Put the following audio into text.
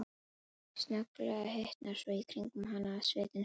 Snögglega hitnar svo í kringum hana að sviti sprettur fram.